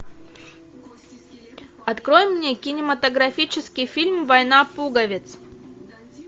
открой мне кинематографический фильм война пуговиц